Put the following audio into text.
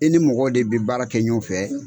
I ni mɔgɔw de be baara kɛ ɲɔgɔn fɛ.